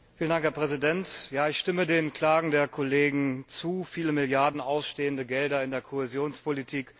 Herr Präsident! Ja, ich stimme den Klagen der Kollegen zu viele Milliarden ausstehende Gelder in der Kohäsionspolitik.